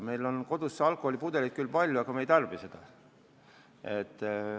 Meil on kodus alkoholipudeleid küll palju, aga me ei tarbi seda.